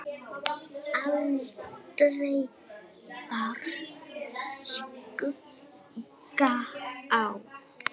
Aldrei bar skugga á.